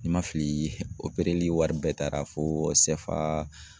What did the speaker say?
Nin ma fili opereli wari bɛɛ taara fo